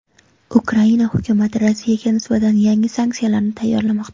Ukraina hukumati Rossiyaga nisbatan yangi sanksiyalarni tayyorlamoqda.